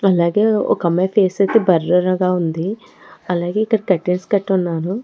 అలాగే ఒక అమ్మాయి ఫేస్ అయితే బ్లర్ గా ఉంది అలాగే ఇక్కడ కర్టెన్స్ కట్టి ఉన్నారు.